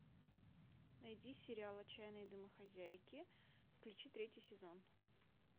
найди сериал отчаянные домохозяйки включи третий сезон